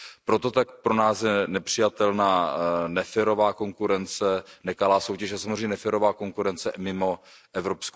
Proto také je pro nás nepřijatelná neférová konkurence, nekalá soutěž a samozřejmě neférová konkurence mimo EU.